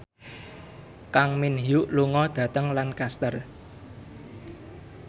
Kang Min Hyuk lunga dhateng Lancaster